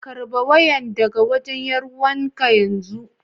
Karba wayan daga wajen 'yar'uwan ka yanzu.